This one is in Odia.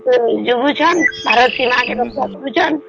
ଯବାନ ମାନେ ଆମର ଭାରତ କେ ଜାଗୁଛନ ସୀମା କେ ଜାଗୁଛନ